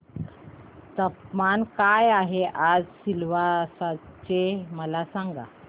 तापमान काय आहे आज सिलवासा चे मला सांगा